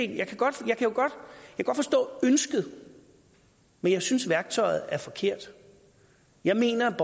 kan godt forstå ønsket men jeg synes værktøjet er forkert jeg mener at